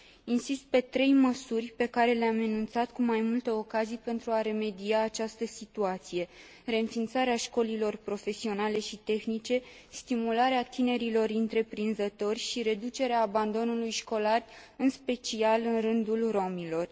Insist pe trei măsuri pe care le am enunțat cu mai multe ocazii pentru a remedia această situație reînființarea școlilor profesionale și tehnice, stimularea tinerilor întreprinzători și reducerea abandonului școlar, în special în rândul romilor.